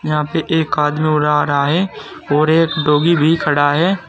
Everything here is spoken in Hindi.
यहां पे एक आदमी उड़ा रहा है और एक डॉगी भी खड़ा है।